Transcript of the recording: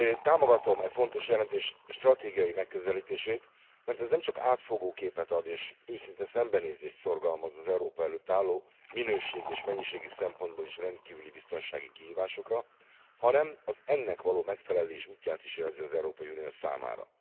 Támogatom e fontos jelentés stratégiai megközelítését, mert ez nemcsak átfogó képet ad és őszinte szembenézést szorgalmaz az Európa előtt álló, minőségi és mennyiségi szempontból is rendkívüli biztonsági kihívásokra, hanem az ennek való megfelelés útját is jelzi az Európai Unió számára.